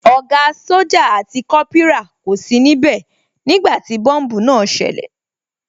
Ògá sójà àti Kópírà kò sí níbẹ̀ nígbàtí tí bọ́mbùù náà ṣẹlẹ̀